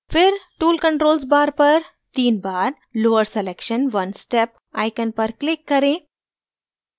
फिर tool controls bar पर then bar lower selection one step icon पर click करें